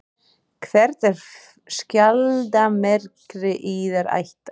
Hvert er skjaldarmerki yðar ættar?